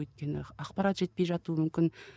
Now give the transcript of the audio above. өйткені ақпарат жетпей жатуы мүмкін